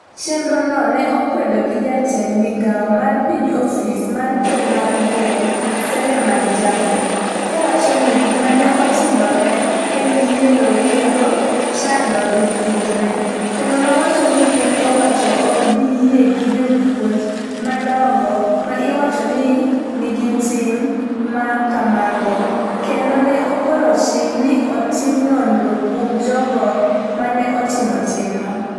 chenrono ne okwed gi jatend migawo mar piny ofis mar ker mar gweng' Seleman Jafo, kowacho ni gima ne otimoreno en yiero kendo chando jopuonjre, kendo nowacho ni piny owacho ok bi yie gi jopuonj madongo ma iwacho ni nigi tim ma kamago, kendo ne ogolo chik ni otim nonro kuom jogo ma ne otimo timno.